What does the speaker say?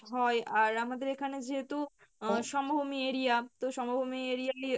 আর আমাদের এখানে যেহেতু আহ সমভূমি area তো সমভূমি area